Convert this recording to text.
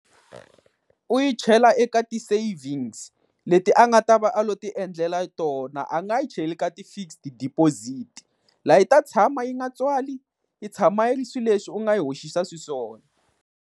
U yi chela eka ti-savings leti a nga ta va a lo ti endlela tona, a nga yi cheli ka ti-fixed deposit, laha yi ta tshama yi nga tswali yi tshama yi ri swileswi u nga yi hoxisa xiswona.